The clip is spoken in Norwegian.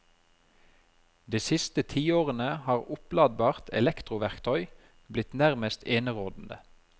De siste tiårene har oppladbart elektroverktøy blitt nærmest enerådende.